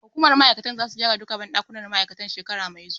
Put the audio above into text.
Hukumar ma'aikatar zasu gyara duka banɗakunan ma'aikatar shekara mai zuwa.